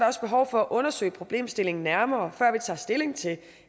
også behov for at undersøge problemstillingen nærmere før vi tager stilling til